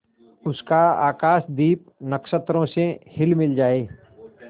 उसका आकाशदीप नक्षत्रों से हिलमिल जाए